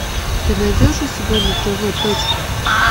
ты найдешь у себя на тв точка